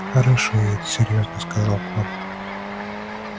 хорошеет серьёзно сказал коля